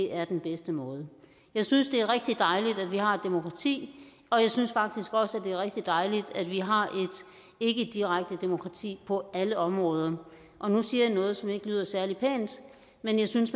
er den bedste måde jeg synes det er rigtigt dejligt at vi har et demokrati og jeg synes faktisk også at det er rigtig dejligt at vi har et ikkedirekte demokrati på alle områder og nu siger jeg noget som ikke lyder særlig pænt men jeg synes